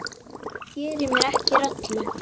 Ég geri mér ekki rellu.